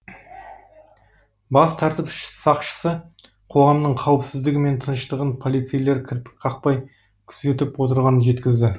бас тәртіп сақшысы қоғамның қауіпсіздігі мен тыныштығын полицейлер кірпік қақпай күзетіп отырғанын жеткізді